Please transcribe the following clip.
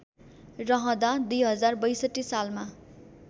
रहँदा २०६२ सालमा